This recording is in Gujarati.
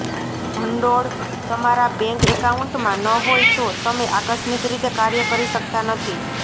ભંડોળ તમારા બેંક એકાઉન્ટમાં ન હોય તો તમે આકસ્મિક રીતે કાર્ય કરી શકતા નથી